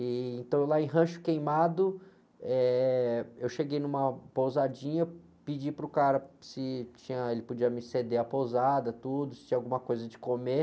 E, então, lá em Rancho Queimado, eu cheguei numa pousadinha, pedi para o cara se tinha, se ele podia me ceder a pousada, tudo, se tinha alguma coisa de comer.